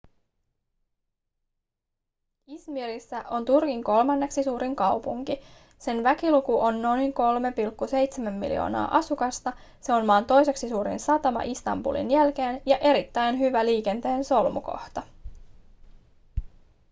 i̇zmirissä on turkin kolmanneksi suurin kaupunki. sen väkiluku on noin 3,7 miljoonaa asukasta se on maan toiseksi suurin satama istanbulin jälkeen ja erittäin hyvä liikenteen solmukohta